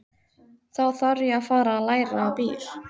Þá þarf ég að fara að læra á bíl.